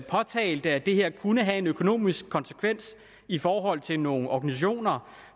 påtalte at det her kunne have en økonomisk konsekvens i forhold til nogle organisationer